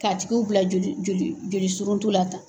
K'a tigiw bila joli joli joli suruntu la tan.